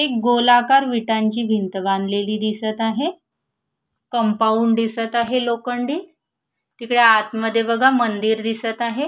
एक गोलाकार विटांची भिंत बांधलेली दिसत आहे कंपाऊंड दिसत आहे लोखंडी तिकडे आतमध्ये बघा मंदिर दिसत आहे.